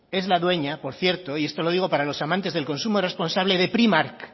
es la dueña por cierto y esto lo digo para los amantes del consumo responsable de primark